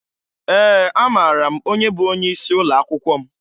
Ee, amara m onye bụ onyeisi ụlọakwụkwọ m